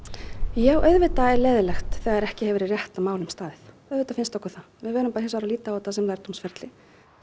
já auðvitað er leiðinlegt þegar ekki hefur verið rétt að málum staðið auðvitað finnst okkur það við verðum hins vegar bara að líta á þetta sem lærdómsferli